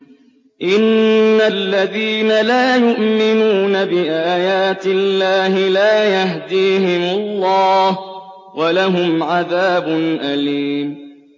إِنَّ الَّذِينَ لَا يُؤْمِنُونَ بِآيَاتِ اللَّهِ لَا يَهْدِيهِمُ اللَّهُ وَلَهُمْ عَذَابٌ أَلِيمٌ